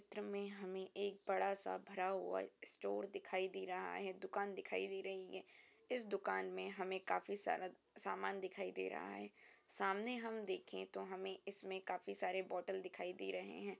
Picture में हमें एक बड़ा-सा भरा हुआ स्टोर दिखाई दे रहा है। दुकान दिखाई दे रही है इस दुकान‌ में हमें काफी सारा सामान दिखाई दे रहा है सामने हम देखें तो हमें इसमें काफी सारे बोटल दिखाई दे रहे हैं।